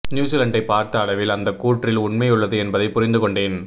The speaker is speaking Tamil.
நியுசிலண்டை பார்த்த அளவில் அந்த கூற்றில் உண்மையுள்ளது என்பதைப் புரிந்து கொண்டேன்